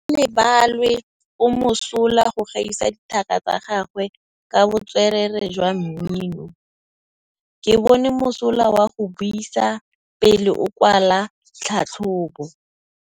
Gaolebalwe o mosola go gaisa dithaka tsa gagwe ka botswerere jwa mmino. Ke bone mosola wa go buisa pele o kwala tlhatlhobô.